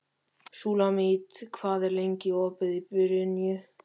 Súlamít, hvað er lengi opið í Brynju?